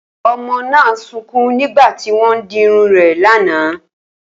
O̩mo̩ náà ń sunkún nígbà tí ó ń dirun rè̩ lánàá